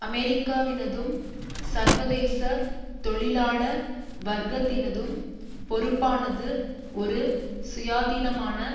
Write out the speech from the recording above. அமெரிக்காவினதும் சர்வதேச தொழிலாள வர்க்கத்தினதும் பொறுப்பானது ஒரு சுயாதீனமான